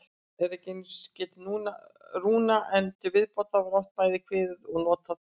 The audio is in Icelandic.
Hér er einungis getið rúna, en til viðbótar var oft bæði kveðið og notað blóð.